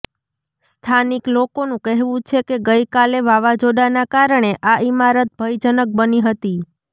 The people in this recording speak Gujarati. સ્થાનિક લોકોનું કહેવું છે કે ગઈકાલે વાવાઝોડાના કારણે આ ઈમારત ભયજનક બની હતી